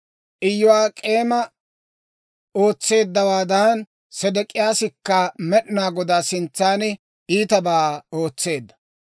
Iyo'ak'eemi ootseeddawaadan, Sedek'iyaasikka Med'inaa Godaa sintsan iitabaa ootseedda.